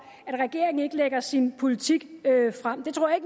at regeringen ikke lægger sin politik frem det tror jeg